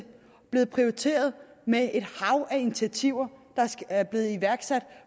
blevet prioriteret med et hav af initiativer der er blevet iværksat